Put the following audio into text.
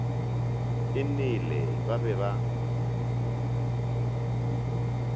e nele ba be ba